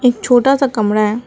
एक छोटा सा कमरा है।